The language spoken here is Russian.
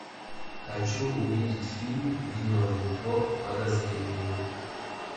хочу увидеть фильм виновен по подозрению